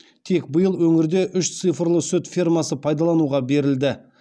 тек биыл өңірде үш цифрлы сүт фермасы пайдалануға берілді